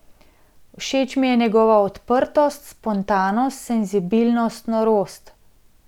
Všeč mi je njegova odprtost, spontanost, senzibilnost, norost.